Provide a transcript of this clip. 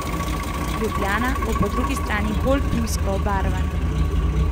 Ljubljana bo po drugi strani bolj pivsko obarvana.